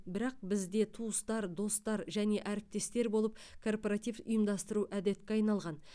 бірақ бізде туыстар достар және әріптестер болып корпоратив ұйымдастыру әдетке айналған